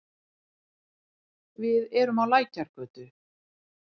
Við erum á Lækjargötu.